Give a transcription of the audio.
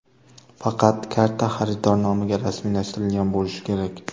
Faqat karta xaridor nomiga rasmiylashtirilgan bo‘lishi kerak.